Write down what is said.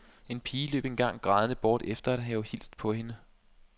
En pige løb engang grædende bort efter at have hilst på hende.